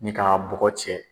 Ni k'a bɔgɔ cɛ.